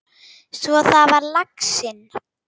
Svo var það laxinn!